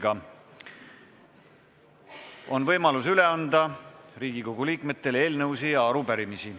Riigikogu liikmetel on võimalus üle anda eelnõusid ja arupärimisi.